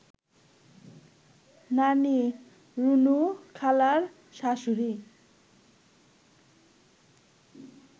নানি, রুনুখালার শাশুড়ি